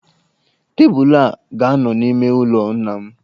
Tebụlụ a ga-anọ n'ime ụlọ nna m.